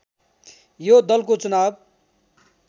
यो दलको चुनाव